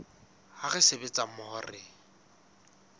ha re sebetsa mmoho re